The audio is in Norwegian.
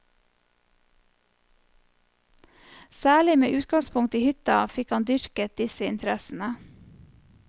Særlig med utgangspunkt i hytta fikk han dyrket disse interessene.